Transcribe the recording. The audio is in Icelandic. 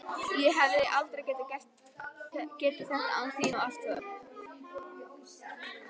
Ég hefði aldrei getað þetta án þín og allt það.